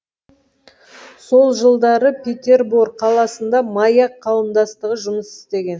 сол жылдары петербор қаласында маяк қауымдастығы жұмыс істеген